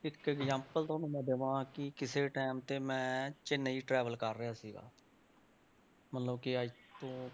ਇੱਕ example ਤੁਹਾਨੂੰ ਮੈਂ ਦੇਵਾਂ ਕਿ ਕਿਸੇ time ਤੇ ਮੈਂ ਚੇਨੰਈ travel ਕਰ ਰਿਹਾ ਸੀਗਾ।